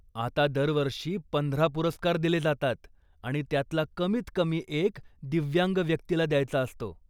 आता दरवर्षी पंधरा पुरस्कार दिले जातात आणि त्यातला कमीत कमी एक दिव्यांग व्यक्तीला द्यायचा असतो.